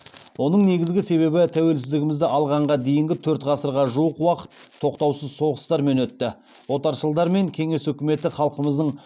оның негізгі себебі тәуелсіздігімізді алғанға дейінгі төрт ғасырға жуық уақыт тоқтаусыз соғыстармен өтті отаршылдар мен кеңес үкіметі халқымыздың